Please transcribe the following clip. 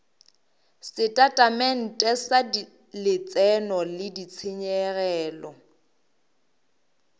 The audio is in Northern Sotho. setatamente sa letseno le ditshenyegelo